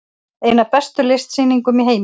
Ein af bestu listsýningum í heiminum